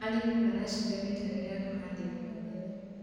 arĩmi maracimba mitaro ya kuhandira mĩmera